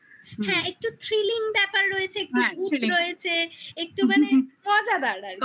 হ্যাঁ একটু thrilling ব্যাপার রয়েছে হ্যাঁ thrilling রয়েছে একটুখানি মজাদার আর কি